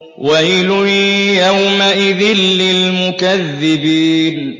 وَيْلٌ يَوْمَئِذٍ لِّلْمُكَذِّبِينَ